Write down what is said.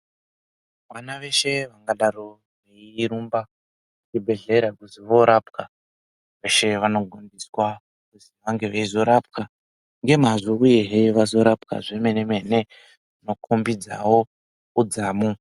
Vana veshe padanho kuende kuzvibhedhlerara vandorapwa veshe vanokurudzirwa kuzondorapwa zvemene mene zvino khombidza wo udzamu.